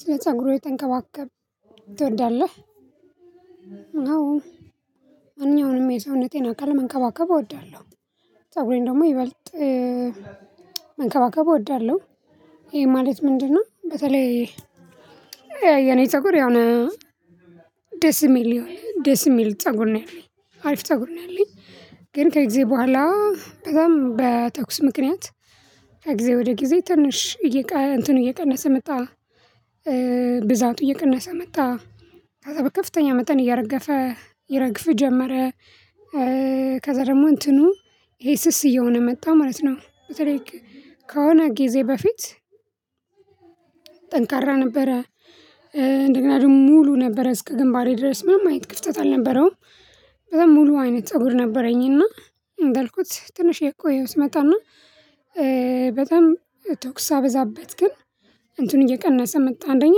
ስለ ፀጉርህ የተንከባከብ ትወዳለህ? አዎ ማንኛውንም የሰውነቴን አካል መንከባከብ እወዳለሁ ፀጉሬን ደግሞ ይበልጥ መንከባከብ እወዳለሁ። ይሄ ማለት ምንድነው? በተለይ የኔ ፀጉር ያው ደስ የሚል ደስ የሚል ፀጉር ነው ያለኝ አሪፍ ፀጉር ነው ያለኝ ግን ከግዝበኋላ በጣም በተኩስ ምክንያት ከጊዜ ወደ ጊዜ ትንሽ እየቀነሰ መጣ ብዛቱ እየቀነሰ መጣ ከፍተኛ መጠን እያረገፈ ይረግፍ ጀመረ። ከዛ ደግሞ እንትኑ ይሄ ስስ እየሆነ መጣ ማለት ነው። በተለይ ከሆነ ጊዜ በፊት ጠንካራ ነበረ እንደገና ደግሞ ሙሉ ነበረ እስከ ግንባሬ ድረስ ምናምን አይነት ክፍተት አልነበረውም በጣም ሙሉ አይነት ፀጉር ነበረኝ። እና እንዳልኩት ትንሽ የቆየው ስመጣና በጣም ተኩስ ሳበዛበት ግን እንትኑ እየቀነሰ መጣ አንደኛ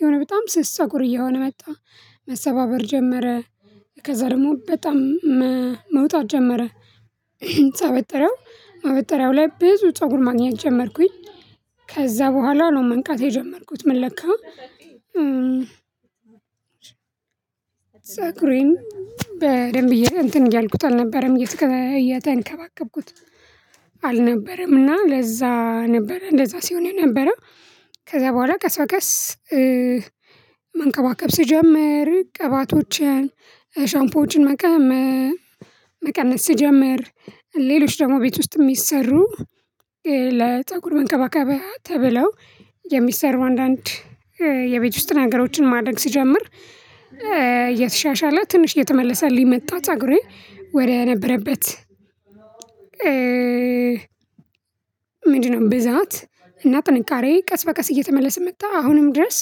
የሆነ በጣም ስስ ፀጉር እየሆነ መጣ። መሰባበር ጀመረ ከዛ ደግሞ በጣም መውጣት ጀመረ ሳበጥረው ማበጠርያው ላይ ብዙ ፀጉር ማግኘት ጀመርኩኝ። ከዛ በኋላ ነው መንቃት የጀመርኩት ምን ለካ ፀጉሬን በደንብ እየ እንትን እያልኩት አልነበረም እየተንከባከብኩት አልነበረም። እና ለዛ ነበር እንደዛ ሲሆን ነበረ ከዛ በኋላ ቀስ በቀስ መንከባከብ ስጀምር ቅባቶችን ሻምፖችን መጠቀም መቀነስ ስጀምር ሌሎች ደግሞ ቤት ውስጥ ሚሰሩ ለፀጉር መንከባከብ ተብለው የሚሰሩ አንዳንድ የቤት ውስጥ ነገሮችን ማደግ ስጀምር የተሻሻለ ትንሽ እየተመለሰልኝ መጣ። ፀጉሬ ወደ ነበረበት ምንድነው ብዛት እና ጥንካሬ ቀስ በቀስ እየተመለሰ መጣ አሁንም ድረስ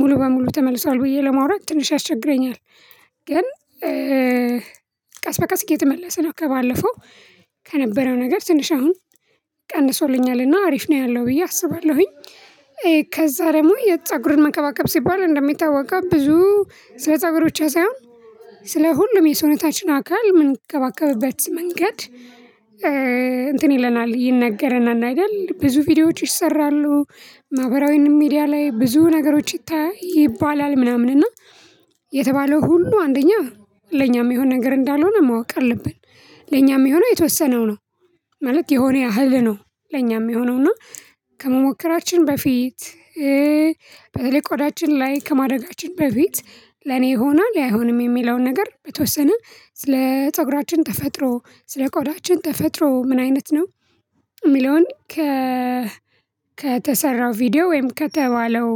ሙሉ በሙሉ ተመልሷል ብዬ ለማውራት ትንሽ ያስቸግረኛል። ግን ቀስ በቀስ እየተመለሰ ነው ከባለፈው ከነበረው ነገር ትንሽ አሁን ቀንሶልኛልና አሪፍ ነው ያለው ብዬ አስባለሁኝ። ከዛ ደግሞ የፀጉር መከባከብ ሲባል እንደሚታወቀው ብዙ ስለ ፀጉር ብቻ ሳይሆን ስለ ሁሉም የሰውነታችን አካል ምን ከባከብበት መንገድ እንትን ይለናል ይነገረናል አይደል ብዙ ቪዲዮዎች ይሰራሉ ማህበራዊንም ሚዲያ ላይ ብዙ ነገሮች ይታያል ይባላል ምናምን እና የተባለው ሁሉ አንደኛ ለኛ ሚሆን ነገር እንዳልሆነ ማወቅ አለብን። ለኛ ሚሆነ የተወሰነው ነው ማለት የሆነ ያህል ነው ለኛ ሚየሆነውና ከመሞከራችን በፊት ላይ ቆዳችን ላይ ከማረጋችን በፊት ለኔ ይሆኗል አይሆንም የሚለውን ነገር በተወሰነ ስለ ፀጉራችን ተፈጥሮ ስለ ቆዳችን ተፈጥሮ ምን አይነት ነው ሚለውን ከ ከተሰራ ቪዲዮ ወይም ከተባለው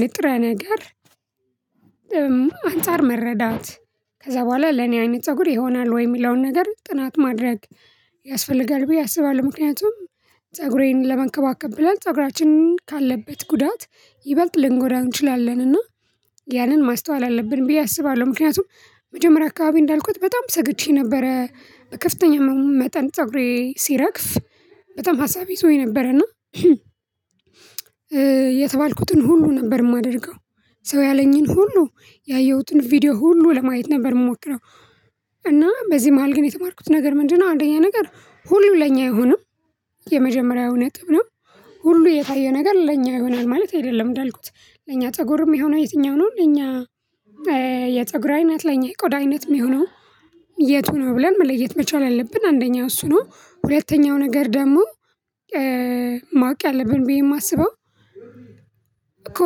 ንጥረ ነገር አንፃር መረዳት ከዛ በኋላ ለኔ አይነት ፀጉር ይሆናል ወይ የሚለውን ነገር ጥናት ማድረግ ያስፈልጋል ብዬ አስባለሁ። ምክንያቱም ፀጉሬን ለመንከባከብ ብለን ፀጉራችንን ካለበት ጉዳት ይበልጥ ልንጎዳው እንችላለን እና ያንን ማስተዋል አለብን ብዬ አስባለሁ። ምክንያቱም መጀመሪያ አካባቢ እንዳልኩት በጣም ሰግቼ ነበረ ከፍተኛ መሆኑ መጠን ፀጉሬ ሲረግፍ በጣም ሀሳቤ ይዞኝ ነበር እና የተባልኩትን ሁሉ ነበር ማደርገው ሰው ያለኝን ሁሉ ያየሁትን ቪዲዮ ሁሉ ለማየት ነበር የምሞክረው እና በዚህ መሃል ግን የተማርኩት ነገር ምንድነው አንደኛ ነገር ሁሉ ለኛ አይሆንም። የመጀመሪያው ነጥብ ነው ሁሉ የታየ ነገር ለኛ ይሆናል ማለት አይደለም እንዳልኩት ለኛ ፀጉር የሆነው የትኛው ነው? የፀጉራይነት ለኛ አይነት ላይ የቆዳ አይነት ሚሆነው የቱ ነው ብለን መለየት መቻል አለብን። አንደኛው እሱ ነው ሁለተኛው ነገር ደግሞ ማወቅ ያለብን ብዬ ማስበው እኮ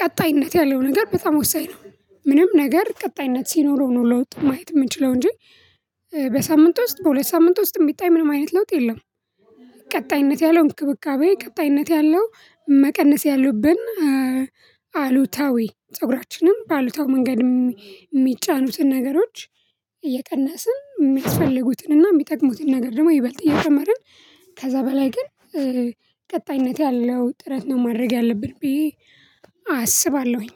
ቀጣይነት ያለው ነገር በጣም ወሳኝ ነው። ምንም ነገር ቀጣይነት ሲኖረው ነው ለውጥ ማየት የምንችለው እንጂ በሳምንት ውስጥ በሁለት ሳምንት ውስጥ የሚታይ ምንም አይነት ለውጥ የለም። ቀጣይነት ያለው እንክብካቤ ቀጣይነት ያለው መቀነስ ያሉብን አሉታዊ ፀጉራችንም በአሉታዊ መንገድ የሚጫኑትን ነገሮች እየቀነስን የሚያስፈልጉትንና የሚጠቅሙትን ነገር ደግሞ ይበልጥ እየጨመርን ከዛ በላይ ግን ቀጣይነት ያለው ጥረት ነው ማድረግ ያለብን ብዬ አስባለሁኝ